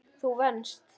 Þú venst.